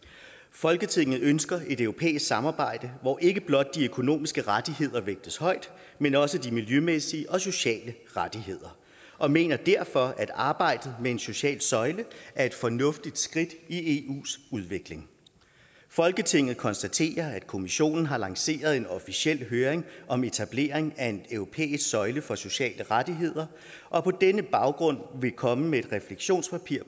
folketinget ønsker et europæisk samarbejde hvor ikke blot de økonomiske rettigheder vægtes højt men også de miljømæssige og sociale rettigheder og mener derfor at arbejdet med en social søjle er et fornuftigt skridt i eus udvikling folketinget konstaterer at kommissionen har lanceret en officiel høring om etableringen af en europæisk søjle for sociale rettigheder og på denne baggrund vil komme med et refleksionspapir